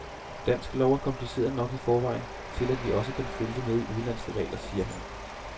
Dansk lov er kompliceret nok i forvejen til, at vi også kan følge med i udenlandske regler, siger han.